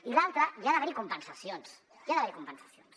i l’altra hi ha d’haver compensacions hi ha d’haver compensacions